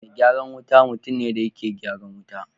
me gyaran wuta mutumne dayake gyaran wuta